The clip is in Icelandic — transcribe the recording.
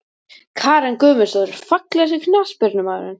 Karen Guðmundsdóttir Fallegasti knattspyrnumaðurinn?